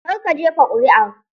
Kar ka jefa ƙuri'a!